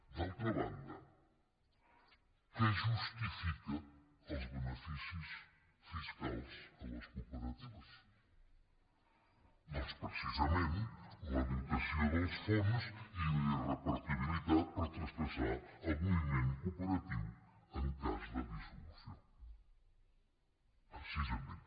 d’altra banda què justifica els beneficis fiscals a les cooperatives doncs precisament la dotació dels fons i la irrepartibilitat per traspassar al moviment cooperatiu en cas de dissolució precisament